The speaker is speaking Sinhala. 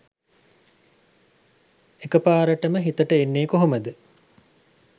එක පාරටම හිතට එන්නෙ කොහොමද?